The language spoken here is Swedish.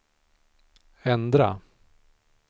ändra